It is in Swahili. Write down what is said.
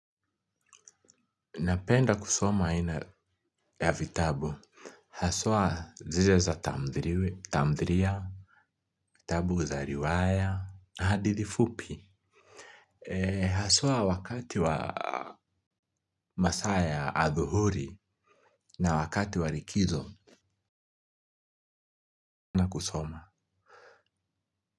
Napenda kusoma aina ya vitabu haswa, zile za tamdhiliwe tamdhiliya vitabu za riwaya, na hadithi fupi, haswa wakati wa masaa ya adhuhuri na wakati wa likizo, nakusoma.